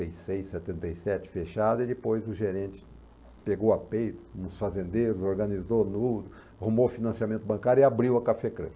e seis, setenta e sete fechada e depois o gerente pegou a dois fazendeiros, organizou tudo, arrumou financiamento bancário e abriu a Cafécrã.